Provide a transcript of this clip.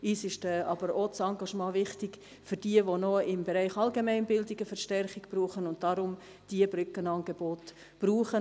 Uns ist aber auch das Engagement für jene wichtig, die im Bereich Allgemeinbildung noch Verstärkung brauchen, und deshalb diese Brückenangebote benötigen.